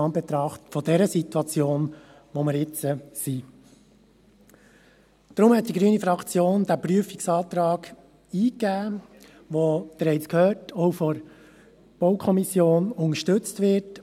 Deshalb hat die grüne Fraktion diesen Prüfungsantrag eingegeben, der auch von der BaK – Sie haben es gehört – unterstützt wird.